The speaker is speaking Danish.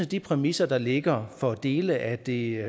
de præmisser der ligger for dele af det